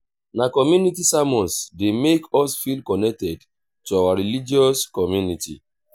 na community sermons dey make us feel connected to our religious community